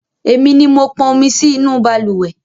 Èmi ni mo pọn omi sí inú balùwẹ́